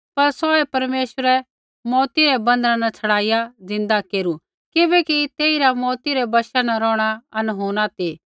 पर सौहै परमेश्वरै मौऊत रै बन्धना न छड़ाईआ ज़िन्दा केरू किबैकि तेइरा मौऊत रै वशा न रौहणा अनहोना ती